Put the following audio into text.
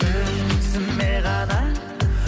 өзіме ғана